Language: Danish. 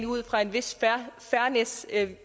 ud fra en vis fairness